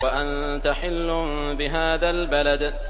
وَأَنتَ حِلٌّ بِهَٰذَا الْبَلَدِ